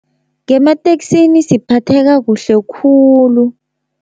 Ngemateksini siphatheka kuhle khulu.